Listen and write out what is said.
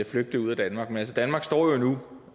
flygte ud af danmark men altså danmark står jo